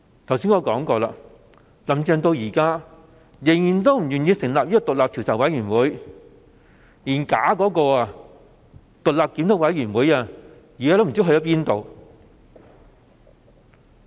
正如我剛才所說，"林鄭"至今仍然不願意成立獨立調查委員會，連那個濫竽充數的獨立檢討委員會也無影無蹤。